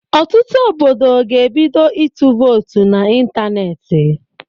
Ọtụtụ obodo ga-ebido ịtụ votu na ịntanetị